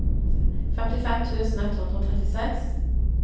femtifem tusen ett hundre og trettiseks